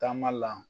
Taama la